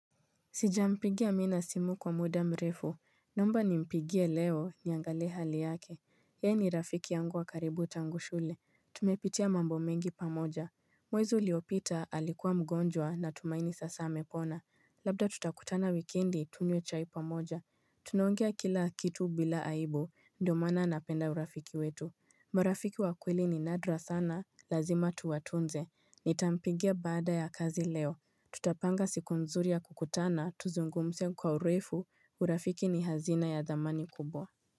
Sijampigia amina simu kwa muda mrefu, naomba nimpigie leo niangale hali yake Yeye ni rafiki yangu wa karibu tangu shule, tumepitia mambo mengi pamoja mwezi uliopita alikuwa mgonjwa natumaini sasa amepona, labda tutakutana wikendi tunywe chai pamoja Tunaongea kila kitu bila aibu, ndo maana napenda urafiki wetu marafiki wakweli ni nadra sana, lazima tuwatunze, nitampigia baada ya kazi leo Tutapanga siku nzuri ya kukutana, tuzungumze kwa urefu, urafiki ni hazina ya thamani kubwa.